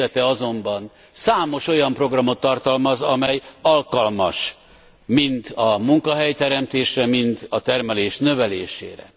fejezete azonban számos olyan programot tartalmaz, amely alkalmas mind a munkahelyteremtésre, mind a termelés növelésére.